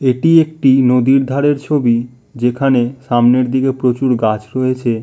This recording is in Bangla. এটি একটি নদীর ধারের ছবি। যেখানে সামনের দিকে প্রচুর গাছ রয়েছে।